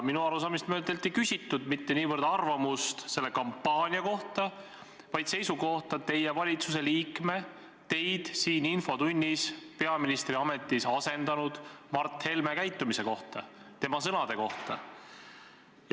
Minu arusaamist mööda teilt ei küsitud mitte niivõrd arvamust selle kampaania kohta, kuivõrd seisukohta teie valitsuse liikme, teid siin infotunnis peaministri ametis asendanud Mart Helme käitumise kohta, tema sõnade kohta.